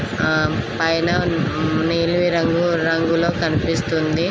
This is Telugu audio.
ఆ పైన నీలి రంగు రంగుల కనిపిస్తుంది.